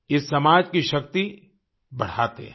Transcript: ये समाज की शक्ति बढ़ाते हैं